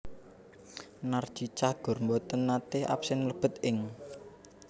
Narji Cagur mboten nate absen mlebet ing